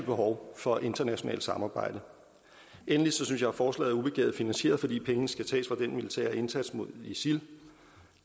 behov for internationalt samarbejde endelig synes jeg at forslaget er ubegavet finansieret fordi pengene skal tages fra den militære indsats mod isil